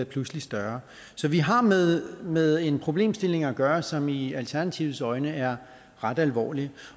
pludselig større så vi har med med en problemstilling at gøre som i alternativets øjne er ret alvorlig